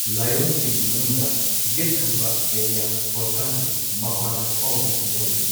ꯂꯥꯏꯑꯣꯡꯁꯤꯡꯒꯤ ꯃꯅꯨꯡꯗ ꯌꯦꯠ ꯊꯪꯕ ꯏꯂꯤꯌꯥꯛ ꯐꯣꯁꯥꯒꯤ ꯃꯄꯥꯗ ꯐꯥꯎꯕꯁꯨ ꯌꯥꯎꯔꯤ꯫